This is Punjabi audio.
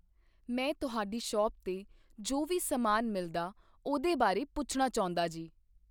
ਮੈਂ ਤੁਹਾਡੀ ਸ਼ੌਪ 'ਤੇ ਜੋ ਵੀ ਸਮਾਨ ਮਿਲਦਾ ਉਹਦੇ ਬਾਰੇ ਪੁੱਛਣਾ ਚਾਹੁੰਦਾ ਜੀ